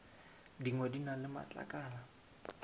dingwe di na le matlakala